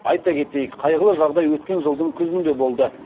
айта кетейік қайғылы жағдай өткен жылдың күзінде болды